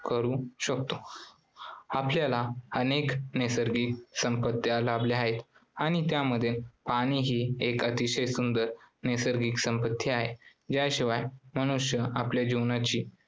करू शकतो. आपल्याला अनेक नैसर्गिक संपत्त्या लाभल्या आहेत आणि त्यामधील पाणी हि एक अतिशय सुंदर नैसर्गिक संपत्ती आहे ज्या शिवाय मनुष्य आपल्या जीवनाची